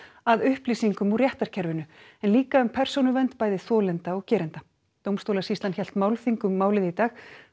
að upplýsingum úr réttarkerfinu en líka um persónuvernd bæði þolenda og gerenda dómstólasýslan hélt málþing um málið í dag